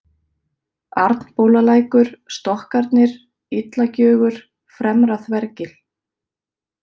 Arnbólalækur, Stokkarnir, Illagjögur, Fremra-Þvergil